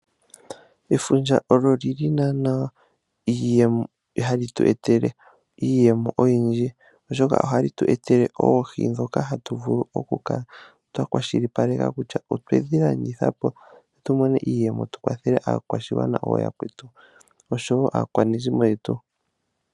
Efundja olyo olyili nana hali tu etele iiyemo oyindji oshoka ohali tu etele oohi dhoka hatu vulu okukala twakwashilipaleka kutya otwedhi landithapo opo tumone iiyemo tukwathele aakwashigwana ooyakwetu, osho wo aakwanezimo yetu.